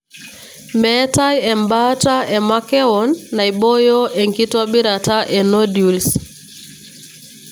meetae embaata emakewon naiboyo enkitobirata e nodules.